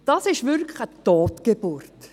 Das ist wirklich eine Totgeburt.